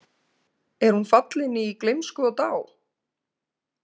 Er hún fallin í gleymsku og dá?